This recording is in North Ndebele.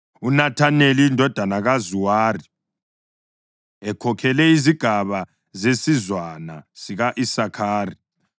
UNethaneli indodana kaZuwari ekhokhele izigaba zesizwana sika-Isakhari,